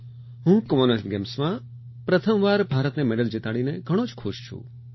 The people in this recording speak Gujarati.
હું કોમનવેલ્થ ગેમ્સમાં પ્રથમવાર ભારતને મેડલ જીતાડીને ઘણો જ ખુશ છું